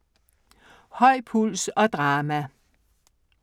Høj puls og drama